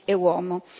e uomo.